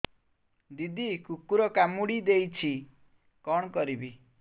ଦିଦି କୁକୁର କାମୁଡି ଦେଇଛି କଣ କରିବି